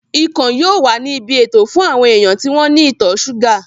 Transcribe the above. Ikàn yóò wà ní ibi ètò fún àwọn èèyàn tí wọ́n ní ìtọ̀ súgà